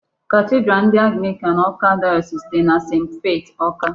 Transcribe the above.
Cathedral ndị Anglican Awka Diocese dị na St. Faith Awka.